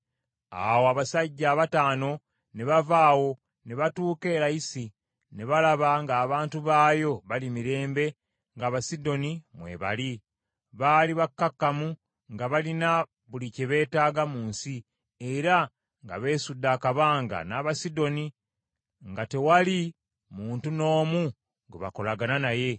Awo abasajja abataano ne bava awo, ne batuuka e Layisi, ne balaba ng’abantu baayo bali mirembe ng’Abasidoni bwe baali. Baali bakkakkamu, nga balina buli kye beetaaga mu nsi, era nga beesudde akabanga n’Abasidoni, nga tewali muntu n’omu gwe bakolagana naye.